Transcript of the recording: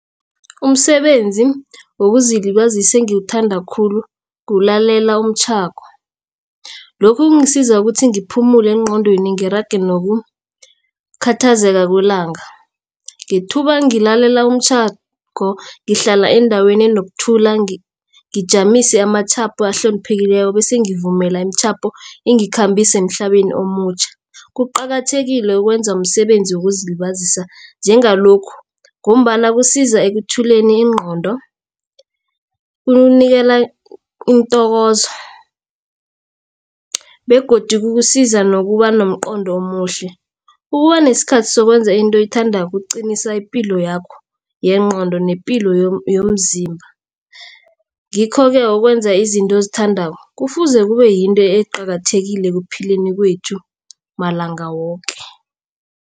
Umsebenzi wokuzilibazisa engiwuthanda khulu kulalela umtjhako. Lokhu kungisiza ukuthi ngiphumele engqondweni ngirage nokukhathazeka kwelanga. Ngethuba ngilalela umtjhako ngihlala endaweni enokuthula ngijamise amatjhapo ahloniphekileko bese ngivumelana imitjhapho ingikhambise emhlabeni omutjha. Kuqakathekile ukwenza umsebenzi wokuzilibazisa njengalokhu ngombana kusiza ekuthuleni ingqondo kukunikela intokozo begodu kukusiza nokuba nomqondo omuhle. Ukuba nesikhathi sokwenza into oyithandako kuqinisa ipilo yakho yengqondo nepilo yomzimba. Ngikho-ke ukwenza izinto ozithandako kufuze kube yinto eqakathekileko ekuphileni kwethu malanga woke.